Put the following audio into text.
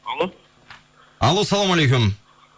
алло алло ассаламалейкум